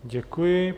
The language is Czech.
Děkuji.